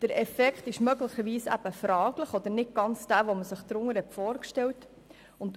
Der Effekt ist möglicherweise fragwürdig oder nicht ganz so, wie man ihn sich vorgestellt hat.